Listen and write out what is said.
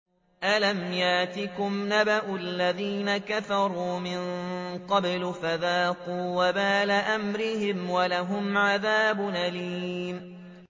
أَلَمْ يَأْتِكُمْ نَبَأُ الَّذِينَ كَفَرُوا مِن قَبْلُ فَذَاقُوا وَبَالَ أَمْرِهِمْ وَلَهُمْ عَذَابٌ أَلِيمٌ